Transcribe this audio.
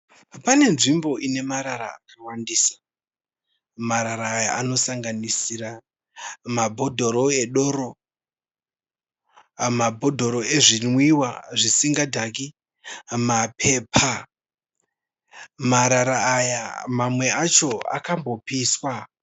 Pane nzvimbo ine marara akawandisa. Marara aya anosanganisira mabhodhoro edoro, mabhodhoro ezvinwiwa zvisingadhaki nemapepa. Marara aya mamwe acho akambopiswa.